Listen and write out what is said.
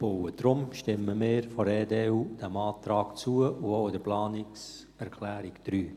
Deshalb stimmen wir von der EDU diesem Antrag zu, und auch der Planungserklärung 3.